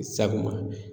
Sabu ma